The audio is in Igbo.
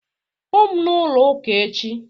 Hụụ m n'ụlọ ụka echi